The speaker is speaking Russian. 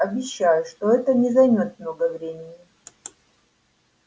обещаю что это не займёт много времени